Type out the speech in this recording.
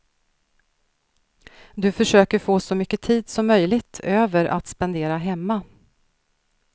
Du försöker få så mycket tid som möjligt över att spendera hemma.